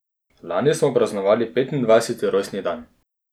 Lani smo praznovali petindvajseti rojstni dan.